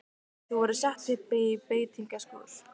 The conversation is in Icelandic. Þau voru sett upp í beitingaskúr.